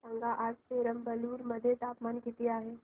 सांगा आज पेराम्बलुर मध्ये तापमान किती आहे